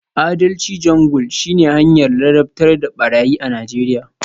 Adalci Jungle shine hanyar ladabtar da barayi a Najeriya